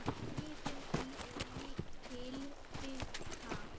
Yfir því er mikil birta.